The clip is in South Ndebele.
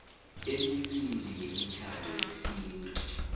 emibili yemitjhado yesintu